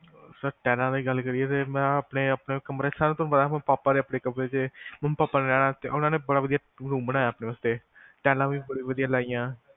sir ਟਾਈਲਾਂ ਦੀ ਗੱਲ ਕਰੀਏ ਤਾਂ ਆਪਣੇ ਮੈਂ ਆਪਣੇ ਕਮਰੇ ਚ ਸਾਰਿਆਂ ਤੋਂ ਪਾਪਾ ਨੇ ਆਪਣੇ ਕਮਰੇ ਚ ਮੰਮੀ ਪਾਪਾ ਨੇ ਰਹਿਣ ਵਾਸਤੇ ਉਹਨਾਂ ਨੇ ਬੜਾ ਵਧਿਆ ਰੂਮ ਬਣਾਇਆ ਆਪਣੇ ਵਾਸਤੇ ਟਾਈਲਾਂ ਵੀ ਬੜੀਆਂ ਵਧਿਆ ਲਾਈਆ